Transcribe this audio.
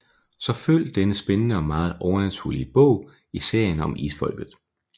Så følg denne spændende og meget overnaturlige bog i serien om isfolket